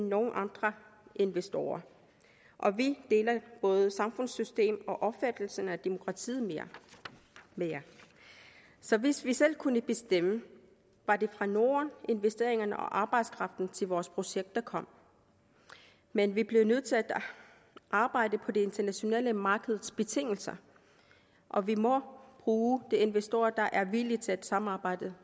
nogen andre investorer og vi deler både samfundssystem og opfattelsen af demokratiet med jer så hvis vi selv kunne bestemme var det fra norden at investeringerne og arbejdskraften til vores projekter kom men vi bliver nødt til at arbejde på det internationale markeds betingelser og vi må bruge investorer der er villige til at samarbejde